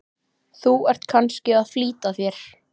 Þú ert kannski að flýta þér.